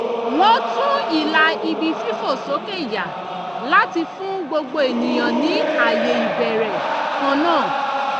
wọ́n tún ìlà ibi fífòsókè yà láti fún gbogbo ènìyàn ní ààyè ìbẹ̀rẹ̀ kan náà